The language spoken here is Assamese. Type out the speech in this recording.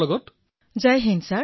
বিনোলে কিসৌঃ জয় হিন্দ মহাশয়